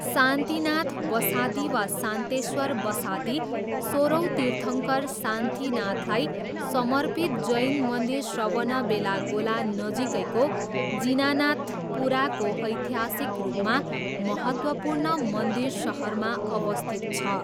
शान्तिनाथ बसादी, वा शान्तेश्वर बसादी, सोह्रौँ तीर्थङ्कर शान्तिनाथलाई समर्पित जैन मन्दिर श्रवणबेलागोला नजिकैको जिनानाथपुराको ऐतिहासिक रूपमा महत्त्वपूर्ण मन्दिर सहरमा अवस्थित छ।